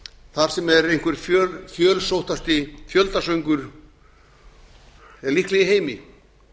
þar sem er einhver fjölsóttasti fjöldasöngur líklega í heimi